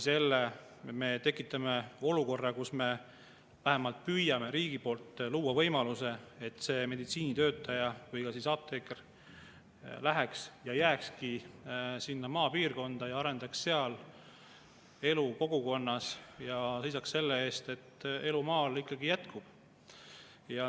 Sellega me tekitame olukorra, kus me vähemalt püüame riigi poolt luua võimaluse, et meditsiinitöötaja või ka apteeker läheks ja jääkski sinna maapiirkonda, arendaks sealset kogukonda ja seisaks selle eest, et elu maal ikkagi jätkuks.